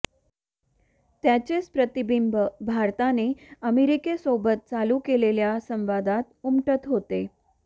त्याचेच प्रतिबिंब भारताने अमेरिकेसोबत चालू केलेल्या संवादात उमटत होते